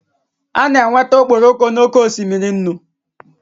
A na-enweta okporoko n'oké osimiri nnu